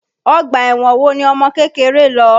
Ọgbà ẹ̀wọ̀n wo ni ọmọkékeré lọ?